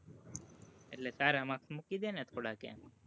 એટલે સારા marks મૂકી દેને થોડાક એમ.